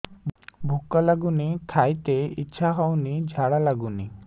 ଭୁକ ଲାଗୁନି ଖାଇତେ ଇଛା ହଉନି ଝାଡ଼ା ଲାଗୁନି